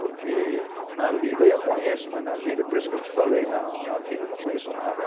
Porque na lida eu conheço, mas na vida por isso eu te falei na na vida eu não conheço nada.